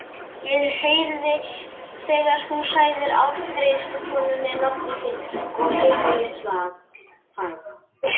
Ég heyrði þegar þú sagðir afgreiðslukonunni nafnið þitt og heimilisfang.